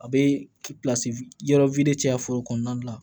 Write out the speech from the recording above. A bɛ yɔrɔ caya foro kɔnɔna la